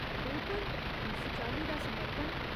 बिलकुल, इस चाल्ली दा समर्पण।